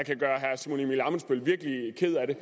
kan gøre herre simon emil ammitzbøll virkelig ked af det